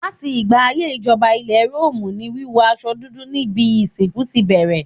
Láti ìgbà ayé ìjọba ilẹ̀ Róòmù ni wíwọ aṣọ dúdú níbi ìsìnkú ti bẹ̀rẹ̀.